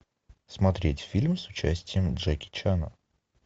смотреть фильм с участием джеки чана